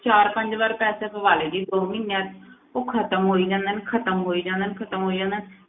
ਚਾਰ ਪੰਜ ਵਾਰ ਪੈਸੇ ਪਵਾ ਲਏ ਜੀ ਦੋ ਮਹੀਨਿਆਂ ਵਿੱਚ ਉਹ ਖ਼ਤਮ ਹੋਈ ਜਾਂਦੇ ਨੇ, ਖ਼ਤਮ ਹੋਈ ਜਾਂਦੇ ਨੇ, ਖ਼ਤਮ ਹੋਈ ਜਾਂਦੇ ਨੇ,